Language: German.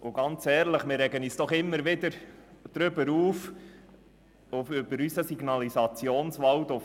Und mal ehrlich: Wir regen uns doch immer wieder über unseren Signalisationswald auf.